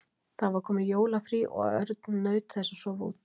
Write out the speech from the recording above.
Það var komið jólafrí og Örn naut þess að sofa út.